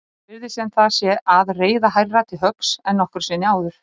Svo virðist sem það sé að reiða hærra til höggs en nokkru sinni áður.